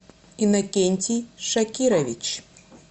инокентий шакирович